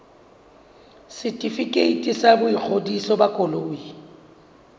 setefikeiti sa boingodiso ba koloi